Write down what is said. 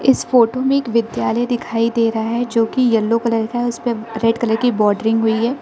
इस फोटो मे एक विद्यालय दिखाई दे रहा है जोकि येलो कलर का है उस पर रेड कलर की बॉर्डरिंग हुई है।